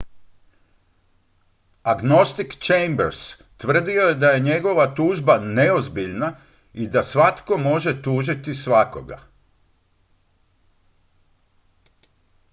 "agnostik chambers tvrdio je da je njegova tužba "neozbiljna" i da "svatko može tužiti svakoga"".